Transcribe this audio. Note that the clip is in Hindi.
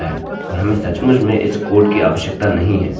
अब हमने यह कर लिया है और हमें सचमुच में इस कोड की आवश्यकता नहीं है